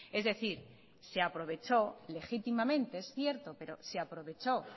es decir se aprovechó legítimamente es cierto pero se aprovechó